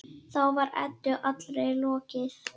Þá var Eddu allri lokið.